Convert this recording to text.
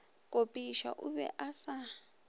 kopiša o be a sa